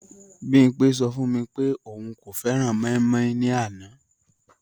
Bimpé sọ fún mi pé òun kò fẹ́ran mọ́ímọ́í ní àná